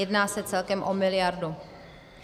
Jedná se celkem o miliardu.